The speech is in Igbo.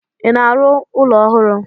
I na-arụ ụlọ ọhụrụ?